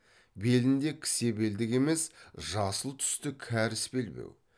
белінде кісе белдік емес жасыл түсті кәріс белбеу